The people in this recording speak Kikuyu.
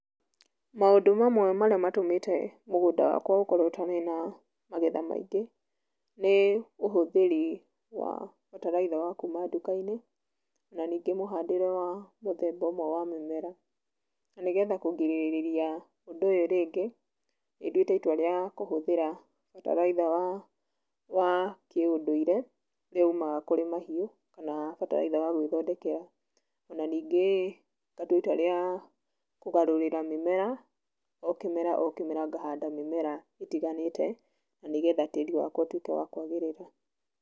Maũndũ mamwe marĩa matũmĩte mũgũnda wakwa ũkorwo ũtarĩ na magetha maingĩ nĩ; ũhũthĩri wa bataraitha wa kuuma nduka-inĩ, na ningĩ mũhandĩre wa mũthemba ũmwe wa mĩmera. Na nĩgetha kũgirĩrĩria ũndũ ũyũ rĩngĩ, nĩ ndũĩte itũa rĩa kũhũthĩra bataraĩtha wa kĩũndũĩre ũrĩa umaga kũrĩ mahiũ, kana bataraĩtha wa gwĩthondekera. O na ningĩ ngatũa itũa rĩa kũgarũrĩra mĩmera, o kĩmera o kĩmera ngahanda mĩmera ĩtiganĩte na nĩgetha tĩĩri wakwa ũtũĩke wa kwagĩrĩra.